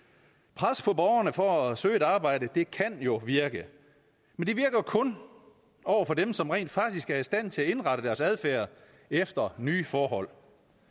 pres på borgerne for at søge et arbejde kan jo virke men det virker kun over for dem som rent faktisk er i stand til at indrette deres adfærd efter nye forhold